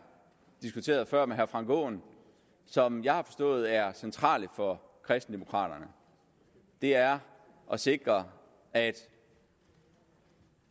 diskuterede før med herre frank aaen og som jeg har forstået er centralt for kristendemokraterne er at sikre at